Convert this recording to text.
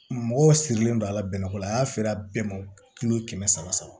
Mɔgɔw sirilen don a la bɛnnɛko la sera bɛɛ ma kɛmɛ saba saba